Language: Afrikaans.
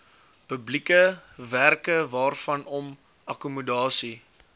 publieke werkewaarvanom akkommodasie